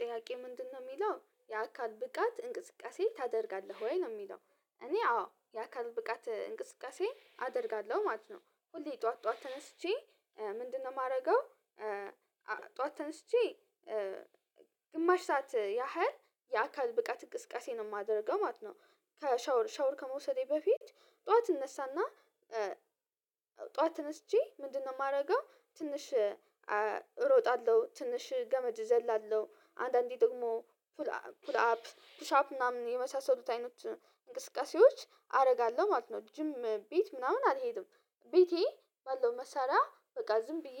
ጥያቄ ምንድነው የሚለው የአካል ብቃት እንቅስቃሴ ታደርጋለህ ወይ ነው የሚለው? እኔ አዎ የአካል ብቃት እንቅስቃሴ አደርጋለሁ ማለት ነው። ሁሌ ጠዋት ጠዋት ተነስቼ ምንድነው የማደርገው? ጠዋት ተነስቼ ግማሽ ሰዓት ያህል የአካል ብቃት ቅስቀሴ ነው የማደርገው ማለት ነው። ከሻወር ሻወር ከመውሰዴ በፊት ጠዋት እነሳና ተነስቼ ምንድነው የማደርገው? ትንሽ እሮጣለሁ ትንሽ ገመድ እዘላለሁ አንዳንዴ ደግሞ ፑል አፕ ፑል አፕ ፑሻፕ ምናምን የመሳሰሉት አይነት እንቅስቃሴዎች አደርጋለሁ ማለት ነው። ጅም ቤት ምናምን አልሄድም። ቤቴ ባለው መሳሪያ በቃ ዝም ብዬ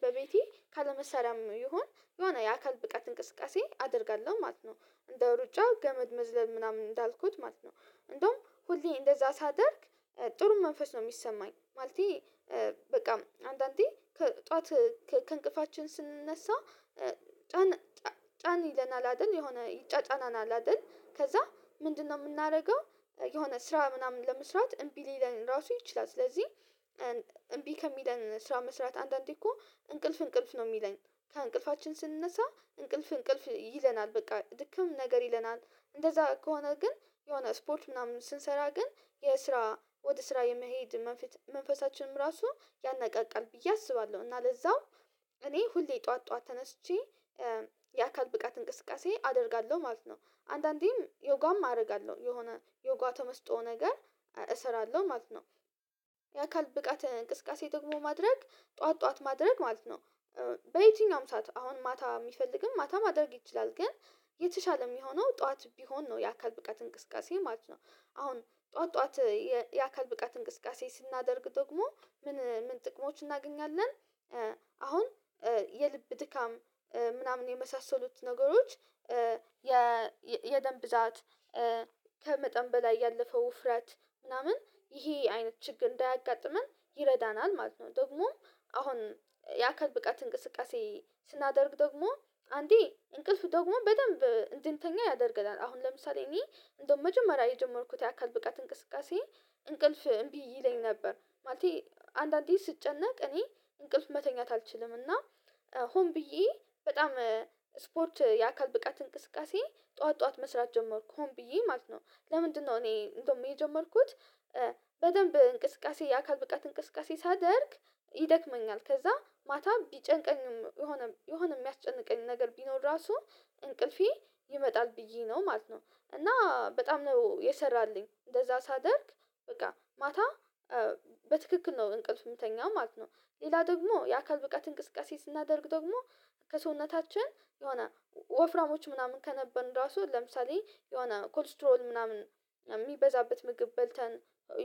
በቤቴ ካለመሳርያም ይሆን የሆነ የአካል ብቃት እንቅስቃሴ አደርጋለሁ ማለት ነው። እንደ ሩጫ ገመድ መዝለል ምናምን እንዳልኩት ማለት ነው። እንደውም ሁሌ እንደዛ ሳደርግ ጥሩ መንፈስ ነው የሚሰማኝ ማለቴ። በቃ አንዳንዴ ከጠዋት ከእንቅልፋችን ስንነሳ ጫን ጫን ይለናል አይደል የሆነ ይጫጫናናል አይደል ከዛ ምንድነው የምናደርገው? የሆነ ስራ ምናምን ለመስራት እምቢ ሊለን ራሱ ይችላል ስለዚህ። እምቢ ከሚለን ስራ መስራት አንዳንዴ እኮ እንቅልፍ እንቅልፍ ነው የሚለኝ። ከእንቅልፋችን ስንነሳ እንቅልፍ እንቅልፍ ይለናል በቃ ድክም ነገር ይለናል እንደዛ ከሆነ ግን የሆነ ስፖርት ምናምን ስንሰራ ግን የስራ ወደ ስራ የመሄድ መንፈሳችንም ራሱ ያናቃቃል ብዬ አስባለሁ። እና ለዛው እኔ ሁሌ ጠዋት ጠዋት ተነስቼ የአካል ብቃት እንቅስቃሴ አደርጋለሁ ማለት ነው። አንዳንዴም ዮጓም አደርጋለሁ የሆነ ዮጓ ተመስጦ ነገር እሰራለሁ ማለት ነው። የአካል ብቃት እንቅስቃሴ ደግሞ ማድረግ ጠዋት ጠዋት ማድረግ ማለት ነው። በየትኛውም ሰዓት አሁን ማታ የሚፈልግም ማታ ማድረግ ይችላል ግን የተሻለ የሚሆነው ጠዋት ቢሆን ነው። የአካል ብቃት እንቅስቃሴ ማለት ነው። አሁን ጠዋት ጠዋት የአካል ብቃት እንቅስቃሴ ስናደርግ ደግሞ ምን ምን ጥቅሞች እናገኛለን? አሁን የልብ ድካም ምናምን የመሳሰሉት ነገሮች። የደም ብዛት ከመጠን በላይ ያለፈው ውፍራት ምናምን ይሄ አይነት ችግር እንዳያጋጥመን ይረዳናል ማለት ነው። ደግሞም አሁን የአካል ብቃት እንቅስቃሴ ስናደርግ ደግሞ አንዴ እንቅልፍ ደግሞ በጣም እንድንተኛ ያደርግናል። አሁን ለምሳሌ እኔ እንደው መጀመሪያ የጀመርኩት የአካል ብቃት እንቅስቃሴ እንቅልፍ እምቢ ይለኝ ነበር። ማለቴ አንዳንዴ ስጨነቅ እኔ እንቅልፍ መተኛት አልችልም እና። ሆን ብዬ በጣም ስፖርት የአካል ብቃት እንቅስቃሴ ጠዋት ጠዋት መስራት ጀመርኩ ሆም ብዬ ማለት ነው። ለምንድነው እኔ እንደውም የጀመርኩት? በደንብ እንቅስቃሴ የአካል ብቃት እንቅስቃሴ ሳደርግ ይደክመኛል ከዛ ማታ ቢጨንቀኝም የሆነ የሆነ የሚያስጨንቀኝ ነገር ቢኖር ራሱ እንቅልፌ ይመጣል ብዬ ነው ማለት ነው። እና በጣም ነው የሰራልኝ እንደዛ ሳደርግ በቃ ማታ በትክክል ነው እንቅልፍ የምተኛው ማለት ነው። ሌላ ደግሞ የአካል ብቃት እንቅስቃሴ ስናደርግ ደግሞ ከሰውነታችን የሆነ ወፍራሞች ምናምን ከነበርን ራሱ ለምሳሌ የሆነ ኮሌስትሮል ምናምን የሚበዛበት ምግብ በልተን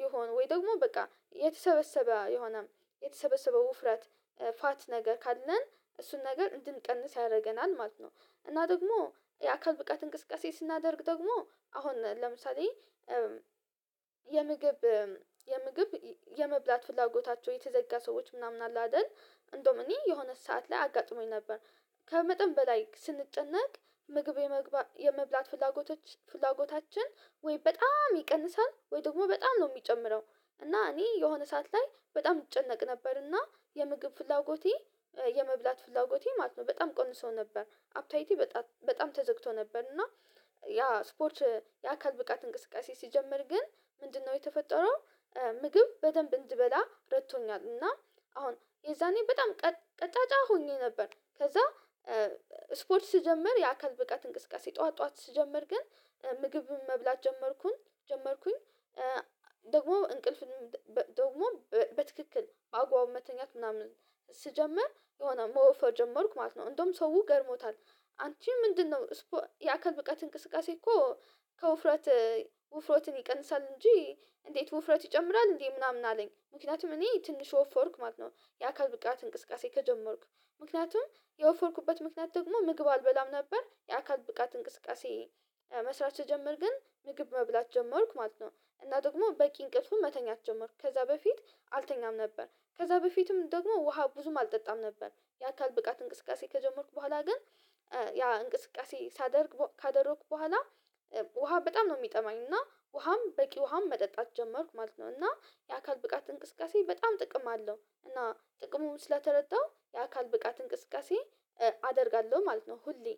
ይሆን ወይ ደግሞ በቃ የተሰበሰበ የሆነም የተሰበሰበው ውፍረት ፋት ነገ ካለን እሱን ነገር እንድንቀንስ ያደርገናል ማለት ነው። እና ደግሞ የአካል ብቃት እንቅስቃሴ ስናደርግ ደግሞ አሁን ለምሳሌ የምግብ የምግብ የመብላት ፍላጎታቸው የተዘጋ ሰዎች ምናምን አለ አይደል እንደውም እኔ የሆነ ሰዓት ላይ አጋጥሞኝ ነበር። ከመጠን በላይ ስንጨነቅ ምግብ የመብላት ፍላጎቶች ፍላጎታችን ወይ በጣም ይቀንሳል ወይ ደግሞ በጣም ነው የሚጨምረው። እና እኔ የሆነ ሰዓት ላይ በጣም እጨነቅ ነበር እና የምግብ ፍላጎቴ የመብላት ፍላጎቴ ማለት ነው በጣም ቀንሰው ነበር አፕታይቴ በጣም ተዘግቶ ነበር እና። ያ ስፖርች የአካል ብቃት እንቅስቃሴ ሲጀምር ግን ምንድነው የተፈጠረው? ምግብ በደንብ እንድበላ ረቶኛል እና አሁን የዛኔ በጣም ቀጫጫ ሆኜ ነበር። ከዛ ስፖርት ስጀምር የአካል ብቃት እንቅስቃሴ ጠዋት ጠዋት ስጀምር ግን ምግብም መብላት ጀመርኩኝ ጀመርኩኝ። ደግሞ እንቅልፍንም ደግሞ በትክክል አጉዋውን መተኛት ምናምን ስጀምር የሆነ መወፈር ጀመርኩ ማለት ነው። እንደውም ሰውው ገረሞታል። አንቺ ምንድነው? የአካል ብቃት እንቅስቃሴ እኮ ከውፍረት ውፍረትን ይቀንሳል እንጂ። እንዴት ውፍረት ይጨምራል እንዴ? ምናምን አለኝ ምክንያቱም እኔ ትንሽ ወፎርኩ ማለት ነው። የአካል ብቃት እንቅስቃሴ ከጀመርኩ ምክንያቱም የወፎርኩበት ምክንያት ደግሞ ምግብ አልበላም ነበር የአካል ብቃት እንቅስቃሴ መስራት ስጀምር ግን ምግብ መብላት ጀመርኩ ማለት ነው። እና ደግሞ በቂ እንቅልፉን መተኛት ጀመርኩ ከዛ በፊት አልተኛም ነበር ከዛ በፊትም ደግሞ ውሃ ብዙም አልጠጣም ነበር። የአካል ብቃት እንቅስቃሴ ከጀመርኩ በኋላ ግን ያ እንቅስቃሴ ሳደርግ ካደረኩ በኋላ ውሃ በጣም ነው የሚጠማኝ እና ውሃም በቂ ውሃም መጠጣት ጀመርኩ ማለት ነው። እና የአካል ብቃት እንቅስቃሴ በጣም ጥቅም አለው እና ጥቅሙ ስለተረዳው የአካል ብቃት እንቅስቃሴ አደርጋለሁ ማለት ነው። ሁሌ